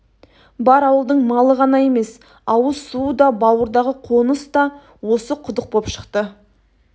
бар ауылдың малы ғана емес ауыз суы да бауырдағы қоныста осы құдық боп шықты